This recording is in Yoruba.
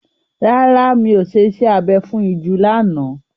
Rárá, mi ò ṣe iṣẹ́ abẹ fún ìju lánàá.